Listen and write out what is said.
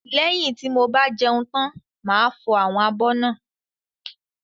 Lẹ́yin tí mo bá jẹun tán máa fọ àwọn abọ́ náà.